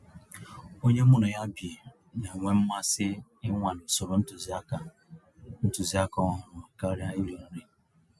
Ònyé mụ́ ná yá bí ná-ènwé mmàsí ìnwàlé ụ̀sòrò ntụ̀zìàkà ntụ̀zìàkà ọ̀hụ́rụ́ kàríà írì nrí.